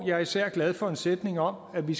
jeg er især glad for en sætning om at vi